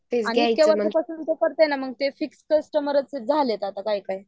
खूप वर्ष्यापासून करते ना मग ते फिक्स कस्टमर आहेत ते काही काहि